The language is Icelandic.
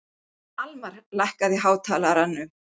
Almar, lækkaðu í hátalaranum.